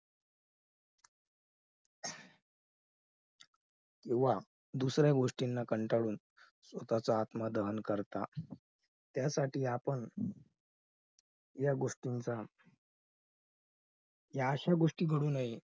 किंवा दुसऱ्या गोष्टीना कंटाळून स्वतःचा आत्मा दहन करतात. त्यासाठी आपण या गोष्टींचा या अश्या गोष्टी घडून